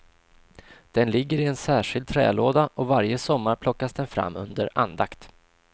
Den ligger i en särskild trälåda och varje sommar plockas den fram under andakt.